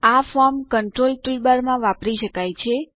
આ form control toolbar માં વાપરી શકાય છે